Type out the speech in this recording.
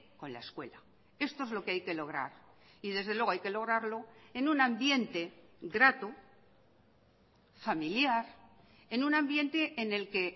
con la escuela esto es lo que hay que lograr y desde luego hay que lograrlo en un ambiente grato familiar en un ambiente en el que